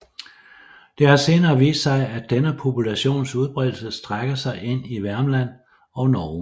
Det har senere vist sig at denne populations udbredelse strækker sig ind i Värmland og Norge